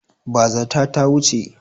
Bazata ta wuce.